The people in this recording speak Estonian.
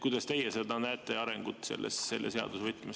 Kuidas teie seda arengut selle seaduse võtmes näete?